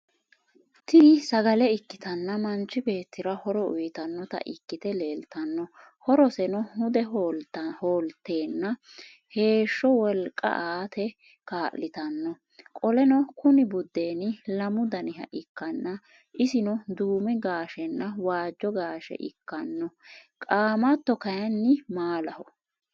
Tini sagale ikkitanna manchi beettira horo uuyiitanota ikkite leelttano horoseno hude hoolattena heeshsho wolqqa aate kaallitanno qoleno Kuni budeeni lamu daniha ikkanna isino duume gaashehanna waajjo gasheha ikkanno qaamatto kaayiinni maalaho